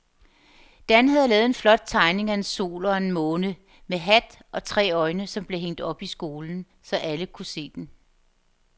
Dan havde lavet en flot tegning af en sol og en måne med hat og tre øjne, som blev hængt op i skolen, så alle kunne se den.